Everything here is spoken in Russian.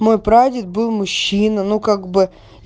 мой прадед был мужчина ну как бы